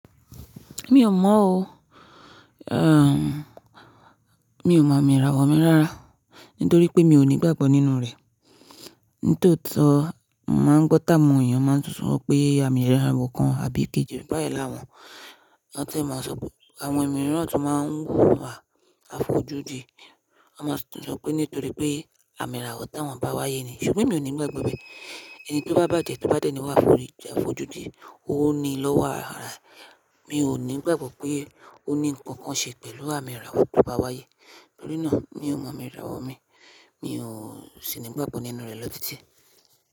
Mi ò mọ̀ o. Mi ò mọ amira wọ̀ mí ráárá, nítorí pé mi ò ní ìgbàgbọ́ nínú rẹ̀. Nítòótó máa ń gbọ́ tà mọ́ èèyàn máa ń sọ pé amira àwọ̀ kan àbí kejì bá ì láwọn. Wọ́n sì máa ń sọ pé àwọn ẹ̀mí náà tún máa ń wà àfojúdi. Wọ́n máa ń sọ pé nítorí pé amira wọ̀ tí wọ́n bá wáyé ni. Ṣùgbọ́n mi ò ní ìgbàgbọ́ bẹ́ẹ̀. Ẹni tó bá bàjẹ́, tó bá dẹ́ni wà fún ìjà àfojúdi, òun ni ló wà arare. Mi ò ní ìgbàgbọ́ pé ó ní nǹkan kan ṣe pẹ̀lú amira wọ̀ tó bá wáyé. Nítorí náà mi ò mọ amira wọ̀ mi. Mi ò sì ní ìgbàgbọ́ nínú rẹ̀ lọ́titi.